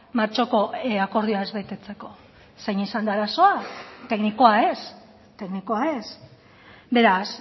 martxoko akordioa ez betetzeko zein izan da arazoa teknikoa ez teknikoa ez beraz